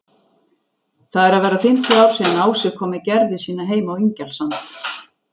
Það eru að verða fimmtíu ár síðan Ási kom með Gerðu sína heim á Ingjaldssand.